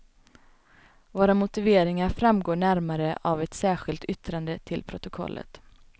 Våra motiveringar framgår närmare av ett särskilt yttrande till protokollet.